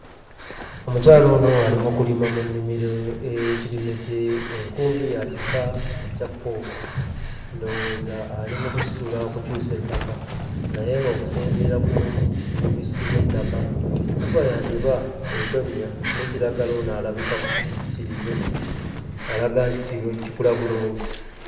Omukyala ono ali mu kulima mu nnimiro ey'ekirime kye enkumbi ya kika ekya ffooko ndowooza ali mu kusitula okukyusa ettaka naye ng'okusinziira ku bubisi bw'ettaka enkuba yandiba etonnya ne kiragala ono alabika ku kirime alaga nti kirungi kikula bulungi.